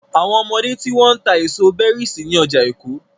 Àwọn ọmọdé tí wọ́n ń ta èso berries ní ọjà Èkó.